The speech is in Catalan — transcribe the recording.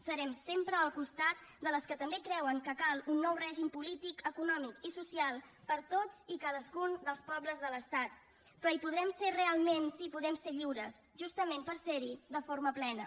serem sempre al costat de les que també creuen que cal un nou règim polític econòmic i social per a tots i cadascun dels pobles de l’estat però hi podrem ser realment si podem ser lliures justament per ser hi de forma plena